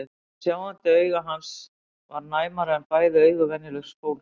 En hið sjáandi auga hans var næmara en bæði augu venjulegs fólks.